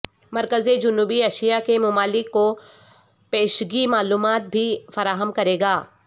مرکز جنوبی ایشیا کے ممالک کو پیشگی معلومات بھی فراہم کرے گا